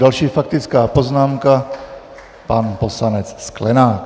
Další faktická poznámka, pan poslanec Sklenák.